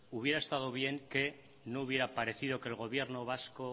hubiera estado bien que no hubiera parecido que el gobierno vasco